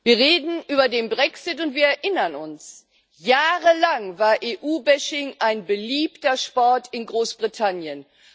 Frau Präsidentin! Wir reden über den Brexit, und wir erinnern uns Jahrelang war EU Bashing ein beliebter Sport in Großbritannien.